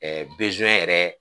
yɛrɛ